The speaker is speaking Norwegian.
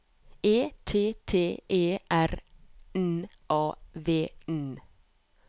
E T T E R N A V N